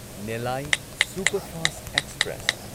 Nellai superfast express